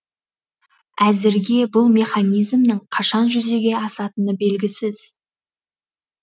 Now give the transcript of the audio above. әзірге бұл механизмнің қашан жүзеге асатыны белгісіз